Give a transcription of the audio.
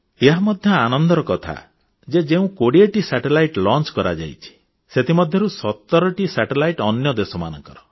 ଏହା ମଧ୍ୟ ଆନନ୍ଦର କଥା ଯେ ଯେଉଁ 20 ଟି ଉପଗ୍ରହ ପ୍ରକ୍ଷେପଣ କରାଯାଇଛି ସେଥିମଧ୍ୟରୁ 17ଟି ଉପଗ୍ରହ ଅନ୍ୟ ଦେଶମାନଙ୍କର